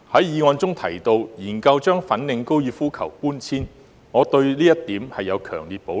議案建議研究把粉嶺高爾夫球場搬遷，我對這一點有強烈的保留。